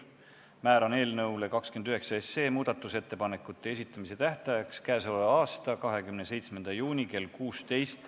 Määran muudatusettepanekute esitamise tähtajaks k.a 27. juuni kell 16.